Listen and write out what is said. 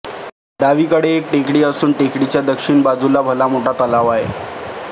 डावीकडे एक टेकडी असून टेकडीच्या दक्षिण बाजूला भलामोठा तलाव आहे